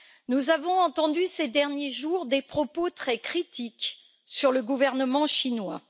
Nous avons entendu ces derniers jours des propos très critiques sur le gouvernement chinois.